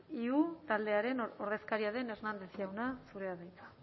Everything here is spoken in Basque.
iu taldearen ordezkaria den hernández jauna zurea da hitza